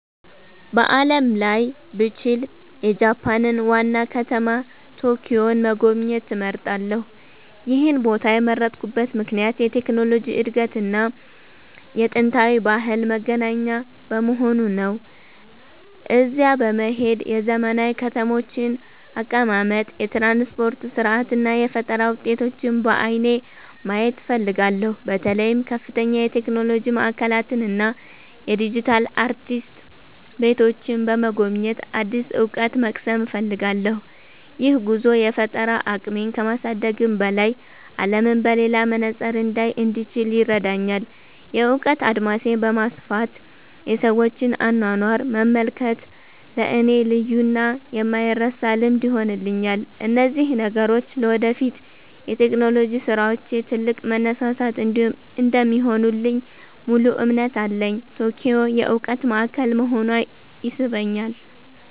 በዓለም ላይ ብችል፣ የጃፓንን ዋና ከተማ ቶኪዮን መጎብኘት እመርጣለሁ። ይህን ቦታ የመረጥኩበት ምክንያት የቴክኖሎጂ እድገትና የጥንታዊ ባህል መገናኛ በመሆኑ ነው። እዚያ በመሄድ የዘመናዊ ከተሞችን አቀማመጥ፣ የትራንስፖርት ሥርዓት እና የፈጠራ ውጤቶችን በዓይኔ ማየት እፈልጋለሁ። በተለይም ከፍተኛ የቴክኖሎጂ ማዕከላትን እና የዲጂታል አርቲስት ቤቶችን በመጎብኘት አዲስ እውቀት መቅሰም እፈልጋለሁ። ይህ ጉዞ የፈጠራ አቅሜን ከማሳደግም በላይ፣ አለምን በሌላ መነጽር እንዳይ እንድችል ይረዳኛል። የእውቀት አድማሴን በማስፋት የሰዎችን አኗኗር መመልከት ለእኔ ልዩና የማይረሳ ልምድ ይሆንልኛል። እነዚህ ነገሮች ለወደፊት የቴክኖሎጂ ስራዎቼ ትልቅ መነሳሳት እንደሚሆኑልኝ ሙሉ እምነት አለኝ። ቶኪዮ የእውቀት ማዕከል መሆኗ ይስበኛል።